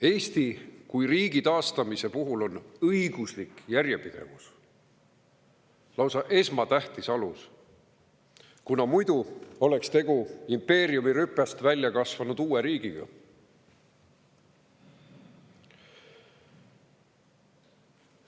Eesti kui riigi taastamise puhul oli õiguslik järjepidevus lausa esmatähtis alus, kuna muidu oleks olnud tegu impeeriumi rüpest välja kasvanud uue riigiga.